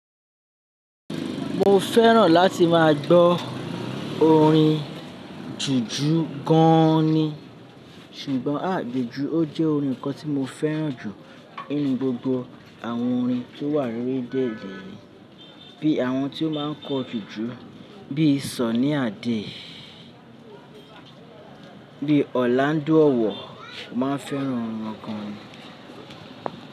Mo fẹ́ràn láti máa gbọ́ orin jùjú gan ni. Ṣùgbọ́n à gbedu ó jẹ́ orin kan tí mo fẹ́ràn jù nínú gbogbo àwọn orin tó wà lórí déèdì. Bí àwọn tí ó máa ń kọ jùjú bí i Sunny Adé, bí i Ọlándo ọ̀wọ̀, mo máa ń fẹ́ràn wọn gan ni.